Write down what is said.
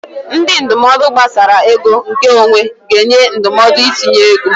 Ndị ndụmọdụ gbasara ego nke onwe ga-enye ndụmọdụ itinye ego.